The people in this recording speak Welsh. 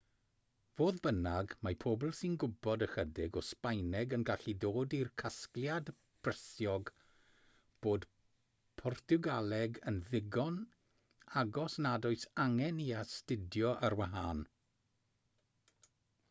fodd bynnag mae pobl sy'n gwybod ychydig o sbaeneg yn gallu dod i'r casgliad brysiog bod portiwgaleg yn ddigon agos nad oes angen ei hastudio ar wahân